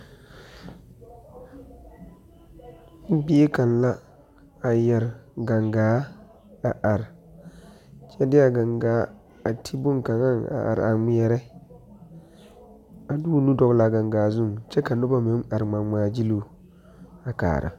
Bie kaŋa la a yeɛre gangaa a are, kyɛ de a gangaa a ti bon kaŋa a are a ŋmeɛre a de o nu dɔle a gangaa zuiŋ kyɛ ka noba meŋ are ŋmaa ŋmaa gyilo a kaara.